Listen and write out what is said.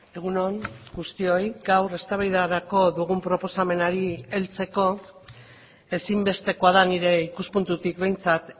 egun on guztioi gaur eztabaidarako dugun proposamenari heltzeko ezinbestekoa da nire ikuspuntutik behintzat